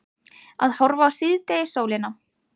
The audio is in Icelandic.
Að horfa á síðdegissólina.